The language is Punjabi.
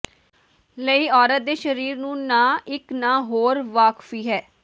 ਲਈ ਔਰਤ ਦੇ ਸਰੀਰ ਨੂੰ ਨਾ ਇੱਕ ਨਾ ਹੋਰ ਵਾਕਫੀ ਹੈ